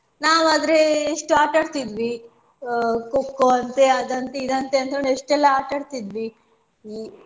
ನಾವಾದ್ರೆ ಎಷ್ಟು ಆಟಾ ಆಡ್ತಾ ಇದ್ವಿ ಅಹ್ Kho Kho ಅಂತೆ ಅದ್ ಅಂತೆ ಇದ್ ಅಂತೆ ಎಷ್ಟೆಲ್ಲಾ ಆಟಾಡ್ತಿದ್ವಿ.